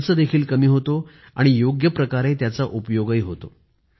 खर्च देखील कमी होतो आणि योग्य प्रकारे त्याचा उपयोगही होतो